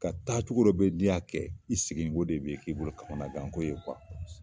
Ka taacogo dɔ be yen n'i yo kɛ i segin ko de bi k'i bolo kamanangan ko ye kuwa